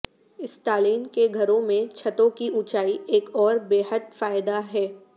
Stalin کے گھروں میں چھتوں کی اونچائی ایک اور بے حد فائدہ ہے